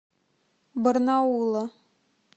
барнаула